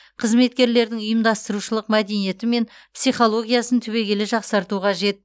қызметкерлердің ұйымдастырушылық мәдениеті мен психологиясын түбегейлі жақсарту қажет